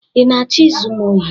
ị na-achọ izu m ohi?